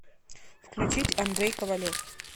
включить андрей ковалев